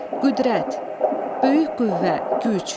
Qüdrət, böyük qüvvə, güc.